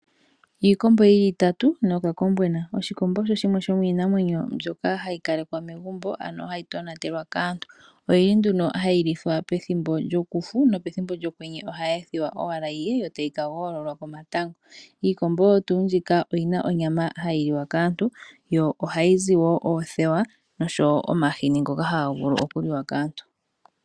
Iikombo yili itatu no kakombwena, iikombo oyo yimwe yominamwenyo mbyoka hayi kalekwa momagumbo ano hayi tonatelwa kaantu, oyili nduno hayilithwa pethimbo lyokufu no pethimbo lyokwenye oha yi ethiwa owala yiye yo tayi ka gololwa komatango, iikombo oyo tu mbika oyina onyama hayiliwa kaantu yo ohayizi wo othewa osho wo omahini ngoka hangavulu okuliwa kaantu.